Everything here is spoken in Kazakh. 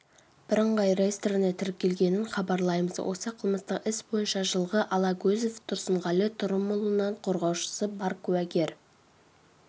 бірыңғай реестріне тіркелгенін хабарлаймыз осы қылмыстық іс бойынша жылғы алагөзов тұрсынғали тұрымұлынан қорғаушысы бар куәгер